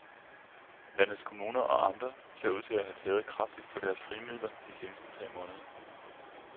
Landets kommuner og amter ser ud til at have tæret kraftigt på deres frie midler de seneste tre måneder.